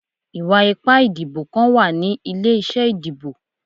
Iwa-ipa idibo kan wa ni ile-iṣẹ idibo